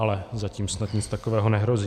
Ale zatím snad nic takového nehrozí.